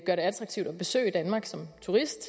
det attraktivt at besøge danmark som turist